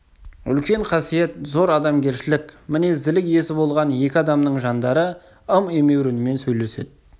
үлкен қасиет зор адамгершілік мінезділік иесі болған екі адамның жандары ым-емеурінмен сөйлеседі